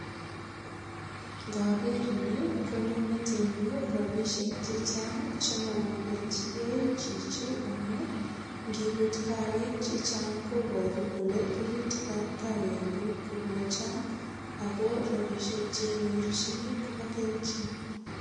Ngoger ni konyo metichu rapisiek che chang chemogobelchigei chichi amu ngibut kawek che chang kobaru kole rurutikab kawekuk kogochang ago rapishiek che nyorchini kobo keljin.